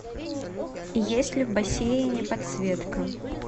есть ли в бассейне подсветка